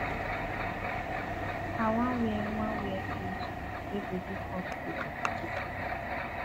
i wan wear wan wear cloth wey go dey comfortable to cook